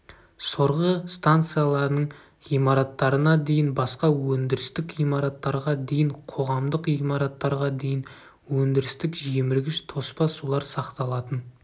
сорғы станцияларының ғимараттарына дейін басқа өндірістік ғимараттарға дейін қоғамдық ғимараттарға дейін өндірістік жеміргіш тоспа сулар сақталатын